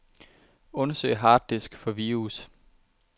Undersøg harddisk for virus.